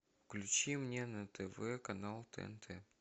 включи мне на тв канал тнт